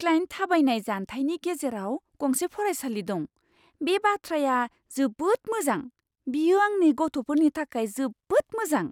Client "थाबायनाय जानथायनि गेजेराव गंसे फरायसालि दं, बे बाथ्राया जोबोद मोजां। बेयो आंनि गथ'फोरनि थाखाय जोबोद मोजां!"